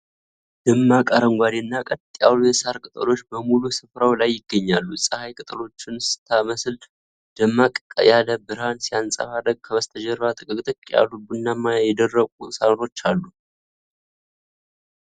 ደማቅ አረንጓዴና ቀጥ ያሉ የሣር ቅጠሎች በሙሉ ስፍራው ላይ ይገኛሉ። ፀሐይ ቅጠሎቹን ስለመታች ደመቅ ያለ ብርሃን ሲያንጸባርቅ፣ ከበስተጀርባ ጥቅጥቅ ያሉ ቡናማና የደረቁ ሳሮች አሉ።